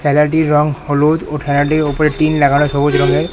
ঠেলাটির রং হলুদ ও ঠেলাটির উপরে টিন লাগানো সবুজ রঙের।